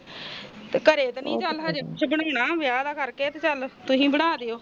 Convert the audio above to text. ਘਰੇ ਤੇ ਨੀ ਚਲ ਸ਼ਗੁਣ ਆ ਸ਼ੁਕਰ ਬਣਾ ਵਿਆਹ ਦੇ ਕਰਕੇ ਚਲ ਤੁਸੀਂ ਬਣਾ ਦੀਓ